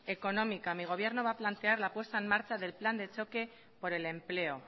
económica mi gobierno va a plantear la puesta en marcha del plan de choque por el empleo